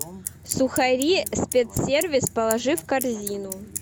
сухари спецсервис положи в корзину